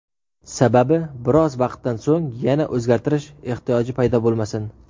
Sababi biroz vaqtdan so‘ng yana o‘zgartirish ehtiyoji paydo bo‘lmasin.